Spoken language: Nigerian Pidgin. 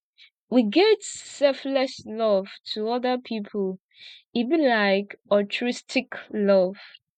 we get selfless love to oda pipo e be like altruistic love